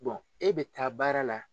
e bɛ taa baara la.